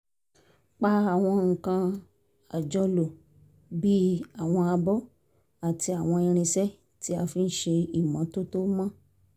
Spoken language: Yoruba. pa àwọn nǹkan àjọlò bíi àwọn abọ́ àti àwọn irinṣẹ́ tí a fi ń ṣe ìmọ́tótó mọ́